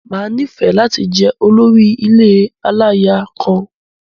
Máa nifẹ lati jẹ olórí ilé alálaya kan.